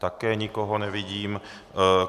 Také nikoho nevidím.